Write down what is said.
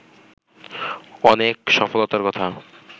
অনেক সফলতার কথা